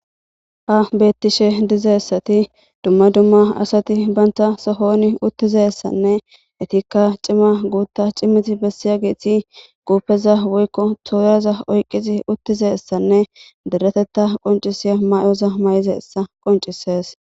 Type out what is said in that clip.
ha beettishe dizassati dumma dumma asati banta sohoni uttizeessanne etikka cima guutta cimiti bessiya giithi guupeza woykko tooraza oyqqizi uttizeessanne deretetta qoncisiya may7oza may7ize essa qoncisees